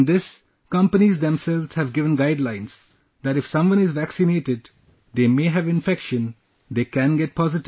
In this, companies themselves have given guidelines that if someone is vaccinated, they may have infection, they can get positive